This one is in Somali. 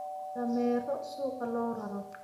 Dameero suuqa loo raro.